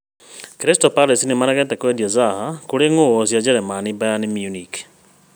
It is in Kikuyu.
Crystal Palace nĩmaregete kwendia Zaha kũrĩ ng’ũũ cia Jerumani Bayern Munich